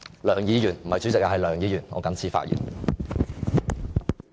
梁議員，不是主席，是梁議員，我謹此發言。